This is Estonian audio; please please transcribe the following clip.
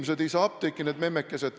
Inimesed ei saa apteeki, need memmekesed.